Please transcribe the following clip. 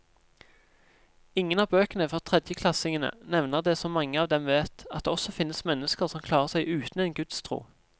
Ingen av bøkene for tredjeklassingene nevner det som mange av dem vet, at det også finnes mennesker som klarer seg uten en gudstro.